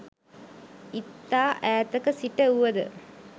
ඉතා ඈතක සිට වුව ද